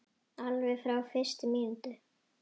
Alveg frá fyrstu mínútu.